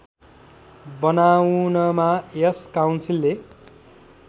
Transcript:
बनाउनमा यस काउन्सिलले